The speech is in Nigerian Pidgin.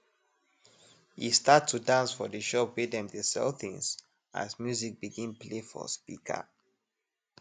e start to dance for de shop wey dem dey sell things as music begin play for speaker